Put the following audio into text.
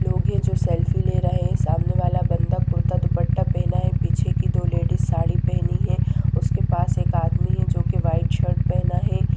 लोग ये जो सेल्फी ले रहे हैं सामने वाला बंदा कुर्ता-दुपट्टा पहना है पीछे की दो लेडीज साड़ी पहनी है उसके पास एक आदमी है जोकि वाइट शर्ट पहना है|